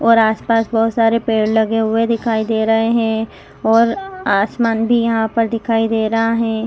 और आसपास बहुत सारे पेड़ लगे हुए दिखाई दे रहे हैं और आसमान भी यहां पर दिखाई दे रहा है।